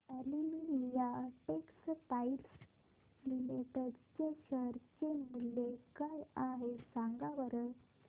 Olympia Textiles Limited चे share मूल्य काय आहे सांगा बरं